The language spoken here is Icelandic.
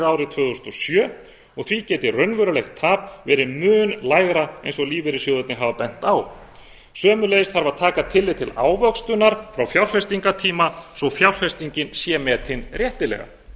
árið tvö þúsund og sjö og því geti raunverulegt tap verið mun lægra eins og lífeyrissjóðirnir hafa bent á sömuleiðis þarf að taka tillit til ávöxtunar frá fjárfestingartíma svo fjárfestingin sé metin réttilega þegar